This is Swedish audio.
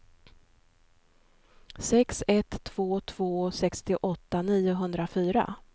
sex ett två två sextioåtta niohundrafyra